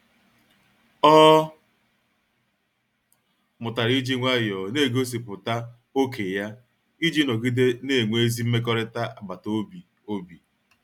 Ọ mụtara iji nwayọọ na-egosipụta ókè ya iji nọgide na-enwe ezi mmekọrịta agbata obi. obi.